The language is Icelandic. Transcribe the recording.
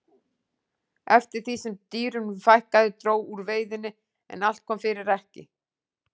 Eftir því sem dýrunum fækkaði dró úr veiðinni en allt kom fyrir ekki.